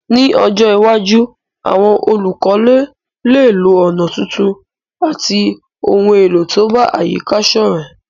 Ní ojó iwájú, àwon olùkọ́lé léè lo ònà tuntun àti oun èlò to bá àyíká sọ́rẹ́